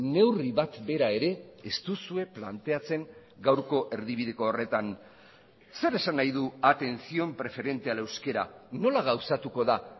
neurri bat bera ere ez duzue planteatzen gaurko erdibideko horretan zer esan nahi du atención preferente al euskera nola gauzatuko da